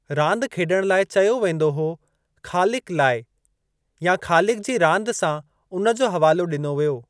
रांदि खेॾणु लाइ चयो वेंदो हो ख़ालिकु लाइ या 'ख़ालिकु जी रांदि' सां उन जो हवालो ॾिनो वियो।